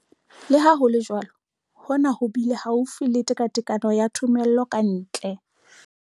Le ha ho le jwalo, hona ho bile haufi le tekatekano ya thomello ka ntle.